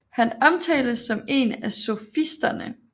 Han omtales som en af sofisterne